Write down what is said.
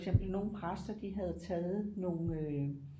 For eksempel nogle præster de havde taget nogle øh